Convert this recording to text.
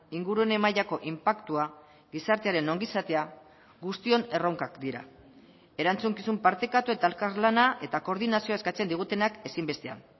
ingurune mailako inpaktua gizartearen ongizatea guztion erronkak dira erantzukizun partekatu eta elkarlana eta koordinazioa eskatzen digutenak ezinbestean